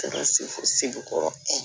se fɔ segu kɔrɔ